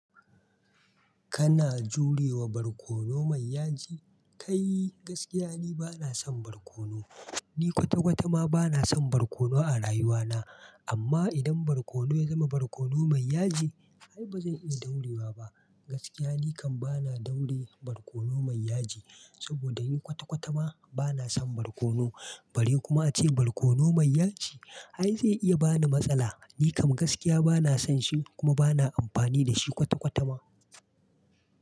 Kana jurewa barkono mai yaji? Kai! Gaskiya ni bana son barkono. Ni kwata-kwata ma bana son barkono a rayuwana. Amma idan barkono ya zama barkono mai yaji, ai bazan iya daurewa ba. Gaskiya ni kam bana daure barkono mai yaji. Saboda ni kwata-kwata ma bana son barkono. Bari kuma ace barkono mai yaji. Ai zai iya bani matsala. Ni kam gaskiya bana son shi kuma bana amfani da shi kwata-kwata ma.